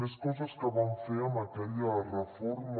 més coses que van fer amb aquella reforma